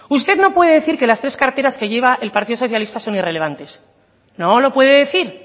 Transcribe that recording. usted no puede decir que las tres carteras que lleva el partido socialista son irrelevantes no lo puede decir